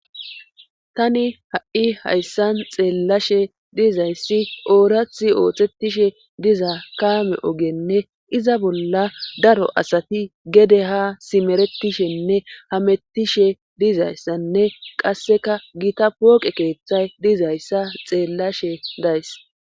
tani ha7i hayssan xeellashe dizayssi oorathi oothetishe diza kaame ogenne iza bolla daro asati gede ha simeretishenne hamettishe dizayssanne qasseka gita pooqe keeththay dizayssa xeellashe days